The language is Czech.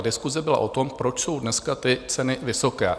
Ta diskuse byla o tom, proč jsou dneska ty ceny vysoké.